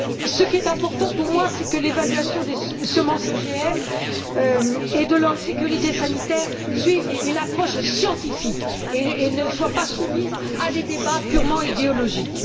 Ce qui est important, pour moi, c'est que l'évaluation des semences OGM et de leur sécurité sanitaire suive une approche scientifique et ne soit pas soumise à des débats purement idéologiques.